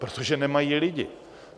Protože nemají lidi.